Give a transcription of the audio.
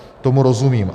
Tomu rozumím.